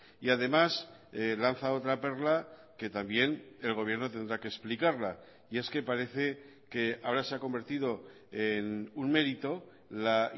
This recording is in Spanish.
y además lanza otra perla que también el gobierno tendrá que explicarla y es que parece que ahora se ha convertido en un mérito la